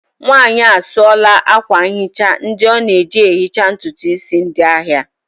Nwanyị a sụọla akwa nhicha ndị ọ na-eji ehicha ntutu isi ndị ahịa